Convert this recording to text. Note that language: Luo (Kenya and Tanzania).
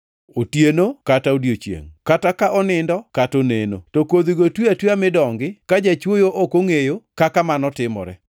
Otieno kata odiechiengʼ, kata ka onindo kata oneno, to kodhigo twi atwiya mi dongi, ka jachwoyo ok ongʼeyo kaka mano timore.